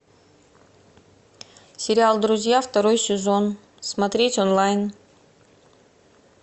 сериал друзья второй сезон смотреть онлайн